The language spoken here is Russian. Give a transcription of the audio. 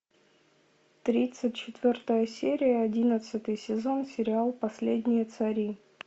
тридцать четвертая серия одиннадцатый сезон сериал последние цари